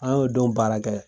An y'o don baara kɛ